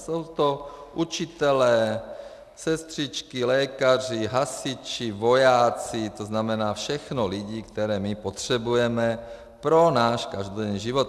Jsou to učitelé, sestřičky, lékaři, hasiči, vojáci, to znamená všechno lidi, které my potřebujeme pro náš každodenní život.